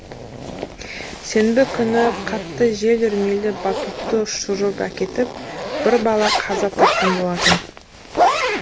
сенбі күні қатты жел үрмелі батутты ұшырып әкетіп бір бала қаза тапқан болатын